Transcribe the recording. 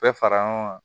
Bɛɛ fara ɲɔgɔn kan